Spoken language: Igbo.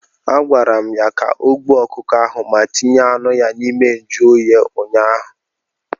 A gwara m ya ka o gbuo ọkụkọ ahụ ma tinye anụ ya n'ime njụ oyi ụnyaahụ!